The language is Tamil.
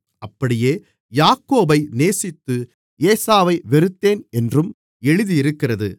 அப்படியே யாக்கோபை நேசித்து ஏசாவை வெறுத்தேன் என்றும் எழுதியிருக்கிறது